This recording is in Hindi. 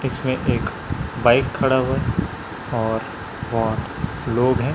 इसमें एक बाइक खड़ा हुआ और बहोत लोग है।